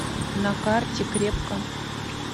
на карте крепко